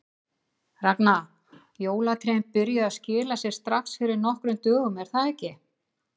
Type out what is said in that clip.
Ragna, jólatrén byrjuðu að skila sér strax fyrir nokkrum dögum er það ekki?